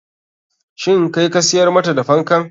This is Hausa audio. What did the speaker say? Shin kai ka siyar mata da fankan?